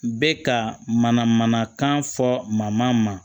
Bɛ ka mana manakan fɔ man ma